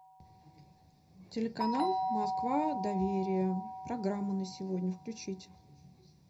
телеканал москва доверие программа на сегодня включить